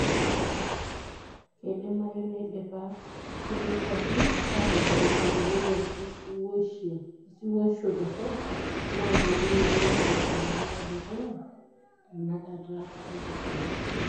Keidimayu neidipa kulie kwapi aatodolo enkirowuaj osiwuisho torok naa keidimayu nelo enabaye dukuya tenakata nikitii.